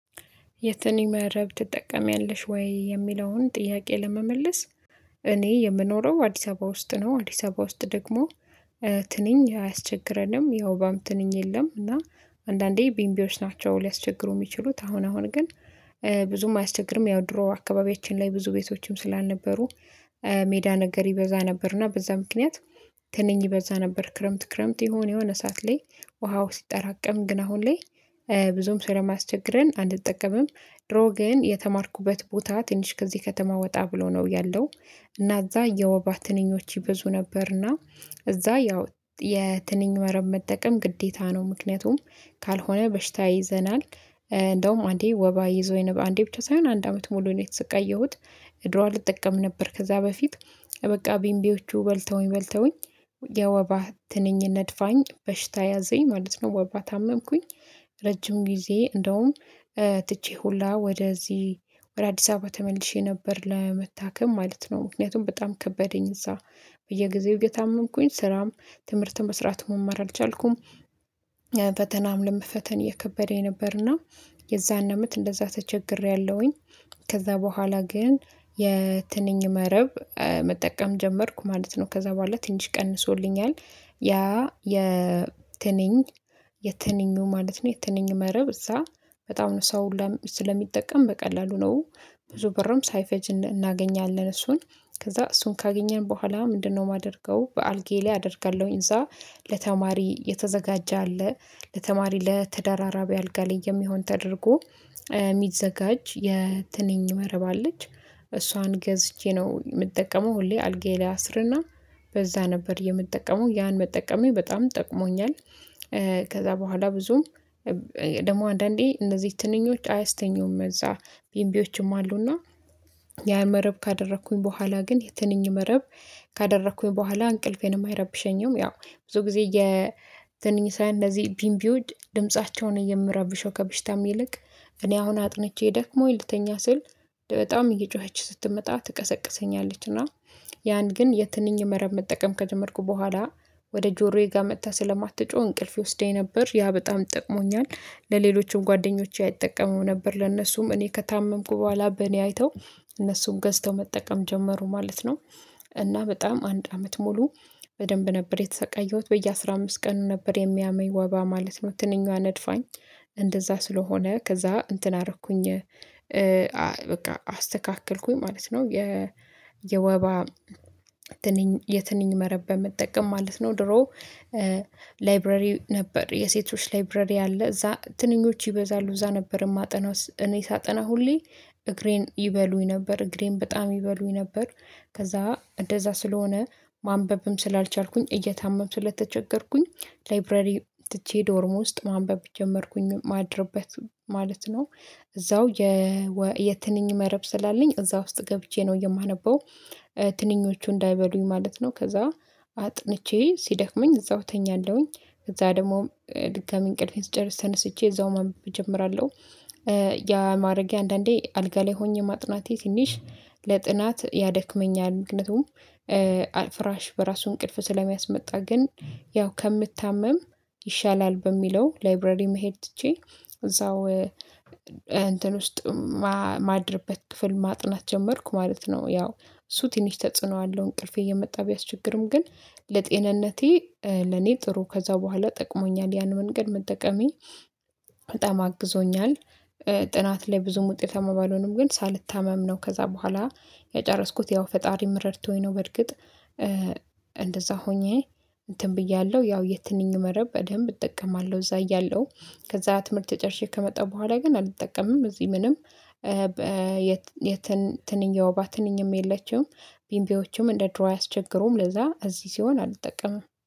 የትንኝ መረብ ትጠቀሚያለሽ ወይ? የሚለውን ጥያቄ ለመመለስ እኔ የምኖረው አዲስ አበባ ውስጥ ነው። አዲስ አበባ ውስጥ ደግሞ ትንኝ አያስቸግረንም ያው የወባ ትንኝ የለም። እና አንዳንዴ ቢምቢዎች ናቸው ሊያስቸግሩ የሚችሉት አሁን አሁን ግን ብዙም አያስቸግርም። ያው ድሮ አካባቢያችን ላይ ብዙ ቤቶችም ስላልነበሩ ሜዳ ነገር ይበዛ ነበርና በዛ ምክንያት ትንኝ ይበዛ ነበር። ክረምት ክረምት የሆነ የሆነ ሰዓት ላይ ውሃው ሲጠራቀም ግን አሁን ላይ ብዙም ስለማያስቸግረን አንጠቀምም። ድሮግን የተማርኩበት ቦታ ትንሽ ከዚህ ከተማ ወጣ ብሎ ነው ያለው እና እዛ የወባ ትንኞች ይበዙ ነበርና እዛ ያው የትንኝ መረብ መጠቀም ግዴታ ነው። ምክንያቱም ካልሆነ በሽታ ይዘናል እንደውም አንዴ ወባ ይዞኝ በአንዴ ብቻ ሳይሆን አንድ አመት ሙሉ ነው የተሰቃየሁት። ድሮ አልጠቀምም ነበር ከዛ በፊት በቃ ቢምቢዎቹ በልተውኝ በልተውኝ የወባ ትንኝ ነድፋኝ በሽታ ያዘኝ ማለት ነው። ወባ ታመምኩኝ። ረጅም ጊዜ እንደውም ትቼ ሁላ ወደዚህ ወደ አዲስ አበባ ተመልሼ ነበር ለመታከም ማለት ነው። ምክንያቱም በጣም ከበደኝ እዛ በየጊዜው እየታመምኩኝ ስራም ትምህርት መስራት መማር አልቻልኩም። ፈተናም ለመፈተን የከበደኝ ነበርና የዛን አመት እንደዛ ተቸግሬያለሁኝ። ከዛ በኋላ ግን የትንኝ መረብ መጠቀም ጀመርኩ ማለት ነው። ከዛ በኋላ ትንሽ ቀንሶልኛል። ያ የትንኝ የትንኙ ማለት ነው የትንኝ መረብ እዛ በጣም ነው ሰው ስለሚጠቀም በቀላሉ ነው። ብዙ ብርም ሳይፈጅ እናገኛለን እሱን ከዛ እሱን ካገኘን በኋላ ምንድነው የማደርገው በአልጋዬ ላይ አደርጋለሁኝ። እዛ ለተማሪ የተዘጋጀ አለ ለተማሪ ለተደራራቢ አልጋ ላይ የሚሆን ተደርጎ የሚዘጋጅ የትንኝ መረብ አለች እሷን ገዝቼ ነው የምጠቀመው። ሁሌ አልጋዬ ላይ አስርና በዛ ነበር የምጠቀመው ያን መጠቀሜ በጣም ጠቅሞኛል። ከዛ በኋላ ብዙም ደግሞ አንዳንዴ እነዚህ ትንኞች አያስተኙም እዛ ቢምቢዎችም አሉና ያ መረብ ካደረኩኝ በኋላ ግን የትንኝ መረብ ካደረኩኝ በኋላ እንቅልፌን የማይረብሸኝም። ያው ብዙ ጊዜ የትንኝ ሳይሆን እንደዚህ ቢንቢዎች ድምፃቸው ነወ የሚረብሸው ከብሽታም ይልቅ እኔ አሁን አጥንቼ ደክሞኝ ልተኛ ስል በጣም እየጮኸች ስትመጣ ትቀሰቅሰኛለች እና ያን ግን የትንኝ መረብ መጠቀም ከጀመርኩ በኋላ ወደ ጆሮዬ ጋር መጥታ ስለማትጮህ እንቅልፍ ይወስደኝ ነበር ያ በጣም ጠቅሞኛል። ለሌሎችም ጓደኞቼ አይጠቀሙም ነበር ለእነሱም እኔ ከታመምኩ በኋላ በእኔ አይተው እነሱን ገዝተው መጠቀም ጀመሩ ማለት ነው። እና በጣም አንድ አመት ሙሉ በደንብ ነበር የተሰቃየሁት በየአስራ አመስት ቀን ነበር የሚያመኝ ወባ ማለት ነው ትንኛዋ ነድፋኝ። እንደዛ ስለሆነ ከዛ እንትን አረኩኝ በቃ አስተካክልኩኝ ማለት ነው። የወባ ትንኝ የትንኝ መረብ በመጠቀም ማለት ነው። ድሮ ላይብረሪ ነበር የሴቶች ላይብረሪ አለ እዛ ትንኞች ይበዛሉ እዛ ነበር የማጠናው እኔ ሳጠና ሁሌ እግሬን ይበሉኝ ነበር እግሬን በጣም ይበሉኝ ነበር። ከዛ እንደዛ ስለሆነ ማንበብም ስላልቻልኩኝ እየታመኩ ስለተቸገርኩኝ ላይብረሪ ትቼ ዶርሞ ውስጥ ማንበብ ጀመርኩኝ እማድርበት ማለት ነው። እዛው የትንኝ መረብ ስላለኝ እዛ ውስጥ ገብቼ ነው የማነበው ትንኞቹ እንዳይበሉኝ ማለት ነው። ከዛ አጥንቼ ሲደክመኝ እዛው እተኛለሁኝ እዛ ደግሞ ድጋሚ እንቅልፌን ስጨርስ ተነስቼ እዛው ማንበብ እጀምራለሁ። ያ ማድረጌ አንዳንዴ አልጋ ላይ ሆኜ ማጥናቴ ትንሽ ለጥናት ያደክመኛል። ምክንያቱም አይ ፍራሽ በራሱ እንቅልፍ ስለሚያስመጣ ግን ያው ከምታመም ይሻላል በሚለው ላይብረሪ መሄድ ትቼ እዛው እንትን ውስጥ እማድርበት ክፍል ማጥናት ጀመርኩ ማለት ነው። ያው እሱ ትንሽ ተጽዕኖ አለው እንቅልፌ እየመጣ ቢያስቸግርም ግን ለጤንነቴ ለኔ ጥሩ ከዛ በኋላ ጠቅሞኛል ያን መንገድ መጠቀሜ በጣም አግዞኛል። ጥናት ላይ ብዙም ውጤታማ ባልሆንም ግን ሳልታመም ነው ከዛ በኋላ የጨረስኩት ያው ፈጣሪም እረድቶኝ ነው። በእርግጥ እንደዚያ ሆኜ እንትን ብያለሁ ያው የትንኝ መረብ በደንብ እጠቀማለሁ። እዛ እያለሁ ከዛ ትምህርት ተጨርሼ ከመጣ በኋላ ግን አልጠቀምም። እዚህ ምንም የትንኝ የውባ ትንኝም የለችም። ቢምቢዎችም እንደ ድሮ አያስቸግሩም ለዛ እዚህ ሲሆን አልጠቀምም